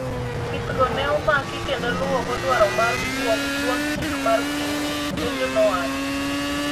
pithgo ne omaki kendo luwogo dwaro mar duond chik mar piny ," lendo no owacho